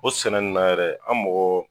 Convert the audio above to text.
O sɛnɛ nunnu na yɛrɛ an mɔgɔ